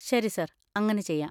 ശരി സർ, അങ്ങനെ ചെയ്യാം.